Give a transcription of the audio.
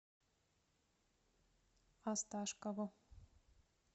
осташкову